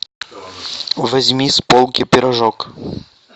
возьми с полки пирожок